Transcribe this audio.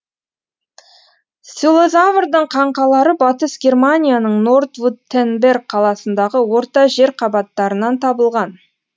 селозаврдың қаңқалары батыс германияның нордвуттенберг қаласындағы орта жер қабаттарынан табылған